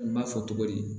N b'a fɔ cogo di